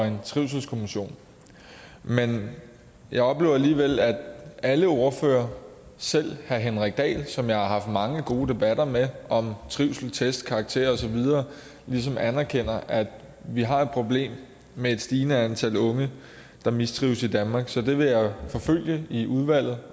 en trivselskommission men jeg oplever alligevel at alle ordførere selv herre henrik dahl som jeg har haft mange gode debatter med om trivsel test og karakterer og så videre ligesom anerkender at vi har et problem med et stigende antal unge der mistrives i danmark så det vil jeg forfølge i udvalget